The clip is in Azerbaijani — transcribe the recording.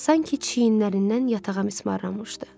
Sanki çiyinlərindən yatağa mismarlanmışdı.